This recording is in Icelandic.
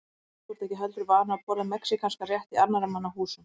Nei, en þú ert ekki heldur vanur að borða mexíkanskan rétt í annarra manna húsum